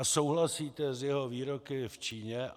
A souhlasíte s jeho výroky v Číně?